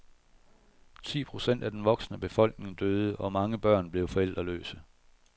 Ti procent af den voksne befolkning døde, og mange børn blev forældreløse.